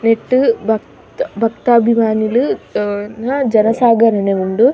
ನೆಟ್ಟ್ ಭಕ್ತ್ ಭಕ್ತಾಭಿಮಾನಿಲ್ ನ ಜನಸಾಗರನೆ ಉಂಡು.